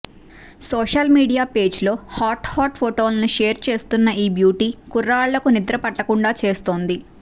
social media పేజ్లో hot hot ఫోటోలను share చేస్తున్న ఈ బ్యూటీ కుర్రాళ్లకు నిద్ర పట్టకుండా చేస్తోంది